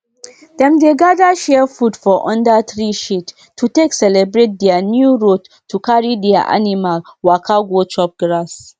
i get small record wey dey show which medicine dey work for which sickness sickness so i fit dey check am quick quick.